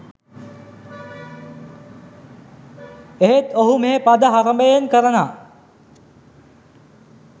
ඒත් ඔහු මේ පද හරඹයෙන් කරනා